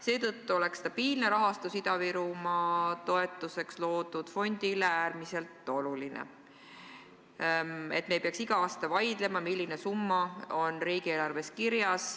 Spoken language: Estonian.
Seetõttu oleks stabiilne rahastus Ida-Virumaa toetuseks loodud fondile äärmiselt oluline, et me ei peaks iga aasta vaidlema, milline summa saab riigieelarvesse kirja.